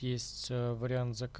есть